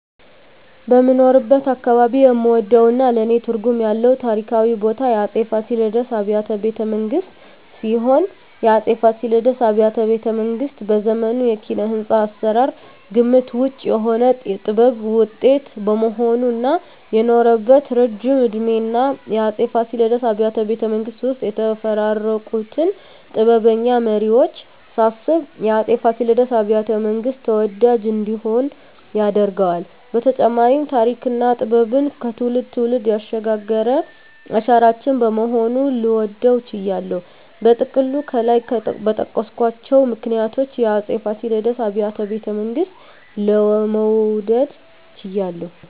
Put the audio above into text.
በምኖርበት አካባባቢ የምወደውና ለኔ ትርጉም ያለው ታሪካዊ ቦታ የአፄ ፋሲለደስ አብያተ ቤተመንግስት ሲሆን፣ የአፄ ፋሲለደስ አብያተ ቤተመንግስት በዘመኑ የኪነ-ህንጻ አሰራር ግምት ውጭ የሆነ የጥበብ ውጤት በመሆኑ እና የኖረበት እረጅም እድሜና የአፄ ፋሲለደስ አብያተ ቤተመንግስት ውስጥ የተፈራረቁትን ጥበበኛ መሪወች ሳስብ የአፄ ፋሲለደስ አብያተ- መንግስት ተወዳጅ እንዲሆን ያደርገዋል በተጨማሪም ተሪክና ጥበብን ከትውልድ ትውልድ ያሸጋገረ አሻራችን በመሆኑ ልወደው ችያለሁ። በጥቅሉ ከላይ በጠቀስኳቸው ምክንያቶች የአፄ ፋሲለደስ አብያተ ቤተመንግስትን ለመውደድ ችያለሁ